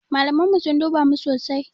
Malaman mu sun duba mu sosai.